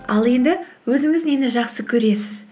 ал енді өзіңіз нені жақсы көресіз